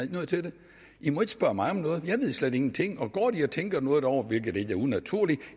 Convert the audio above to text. noget til det i må ikke spørge mig om noget jeg ved slet ingenting og går de og tænker noget derovre hvilket ikke er unaturligt